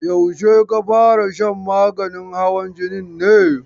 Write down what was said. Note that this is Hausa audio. Yaushe ka fara shan maganin hawan jinin ne?